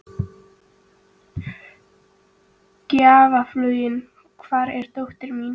Gjaflaug, hvar er dótið mitt?